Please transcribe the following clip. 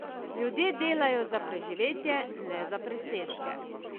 Ljudje delajo za preživetje, ne za presežke.